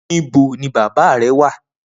Nibó ni bàbá rè wà?